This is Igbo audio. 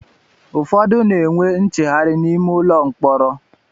Ụfọdụ n'enwe ncheghari n'ime ụlọ mkpọrọ